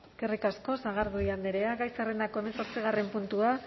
eskerrik asko sagardui andrea gai zerrendako hemezortzigarren puntua